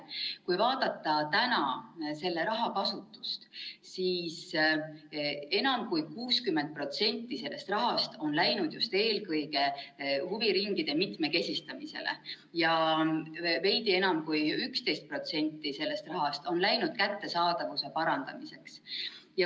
Kui vaadata selle raha kasutust, siis enam kui 60% sellest rahast on läinud just eelkõige huviringide mitmekesistamisele ja veidi enam kui 11% sellest rahast on läinud kättesaadavuse parandamiseks.